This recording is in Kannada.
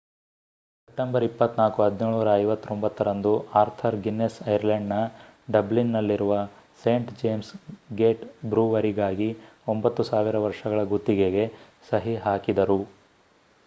ಸೆಪ್ಟೆಂಬರ್ 24 1759 ರಂದು ಆರ್ಥರ್ ಗಿನ್ನೆಸ್ ಐರ್ಲೆಂಡ್‌ನ ಡಬ್ಲಿನ್‌ನಲ್ಲಿರುವ ಸೇಂಟ್ ಜೇಮ್ಸ್ ಗೇಟ್ ಬ್ರೂವರಿಗಾಗಿ 9,000 ವರ್ಷಗಳ ಗುತ್ತಿಗೆಗೆ ಸಹಿ ಹಾಕಿದರು